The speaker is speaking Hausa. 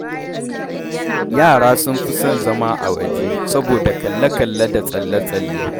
Yara sun fi son zama a waje, saboda kalle-kalle da tsalle-tsalle.